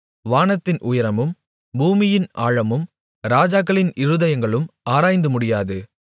வானத்தின் உயரமும் பூமியின் ஆழமும் ராஜாக்களின் இருதயங்களும் ஆராய்ந்துமுடியாது